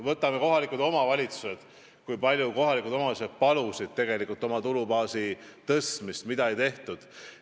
Võtame kohalikud omavalitsused: kui palju olid kohalikud omavalitsused palunud oma tulubaasi suurendada, aga seda ei tehtud.